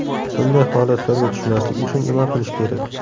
Bunday holatlarga tushmaslik uchun nima qilish kerak?